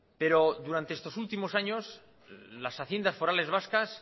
pero durante estos últimos años las haciendas forales vascas